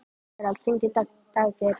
Gerald, hringdu í Daggeir.